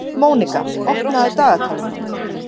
Mónika, opnaðu dagatalið mitt.